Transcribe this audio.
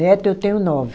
Neto eu tenho nove.